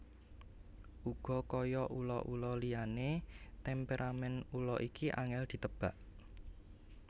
Uga kaya ula ula liané temperamèn ula iki angèl ditebak